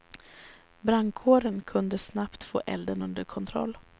Brandkåren kunde snabbt få elden under kontroll.